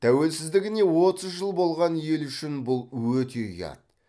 тәуелсіздігіне отыз жыл болған ел үшін бұл өте ұят